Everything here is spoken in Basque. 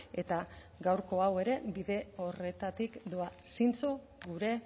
eta gaurko hau ere bide horretatik doa zintzo gure